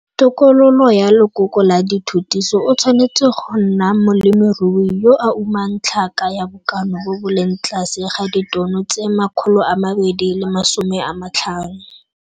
Tokololo ya lekoko la dithutiso o tshwanetse go nna molemirui yo a umang tlhaka ya bokana bo bo leng tlase ga ditono tse 250.